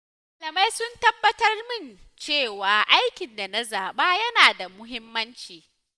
Malamai sun tabbatar min cewa aikin da na zaba yana da muhimmanci